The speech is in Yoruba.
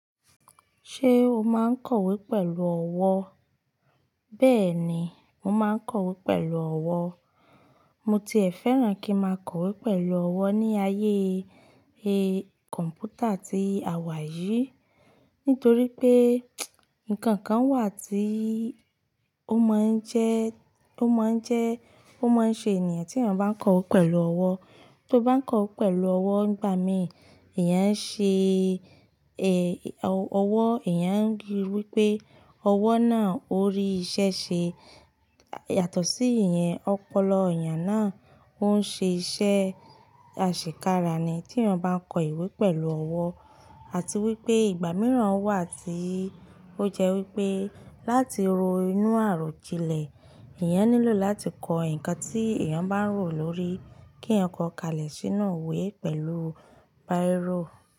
Ṣé o máa ń kọ̀wé pẹ̀lú ọwọ́? Bẹ́ẹ̀ ni, mo máa ń kọ̀wé pẹ̀lú ọwọ́. Mo tiẹ̀ fẹ́ràn kí n máa kọ̀wé pẹ̀lú ọwọ́ ní ayé kọ̀m̀pútà tí àwa wà yìí, nítorí pé ǹkan kan wà tí ó máa ń jẹ́, ó máa ń jẹ́, ó máa ń ṣe ènìyàn tí èèyàn bá ń kọ̀wé pẹ̀lú ọwọ́. Tó bá ń kọ̀wé pẹ̀lú ọwọ́ nígbà mìíràn, èèyàn ń ṣe, ọwọ́ èèyàn ń rí wí pé ọwọ́ náà ó rí iṣẹ́ ṣe yàtọ̀ sí ìyẹn. Ọpọlọ èèyàn náà ó ń ṣe iṣẹ́ àṣekára ni tí èèyàn bá ń kọ ìwé pẹ̀lú ọwọ́. Àti wí pé ìgbà mìíràn wà tí ó jẹ́ wí pé láti ro inú àròjinlẹ̀, èèyàn nílò láti kọ ǹkan tí èèyàn bá ń rò lórí kí èèyàn kó kalẹ̀ sínú ìwé pẹ̀lú bírò.